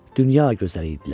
Dünya gözəli idilər.